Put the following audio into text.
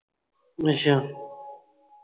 ਅੱਛਾ